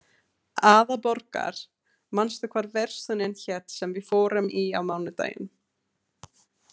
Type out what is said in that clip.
Aðalborgar, manstu hvað verslunin hét sem við fórum í á mánudaginn?